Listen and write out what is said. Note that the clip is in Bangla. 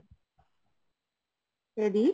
ad